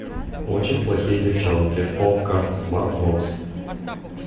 очень плохие девчонки окко смарт бокс